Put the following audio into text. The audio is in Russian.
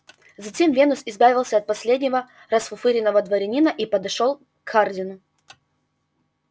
затем венус избавился от последнего расфуфыренного дворянина и подошёл к хардину